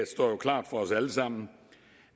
jo klart for os alle sammen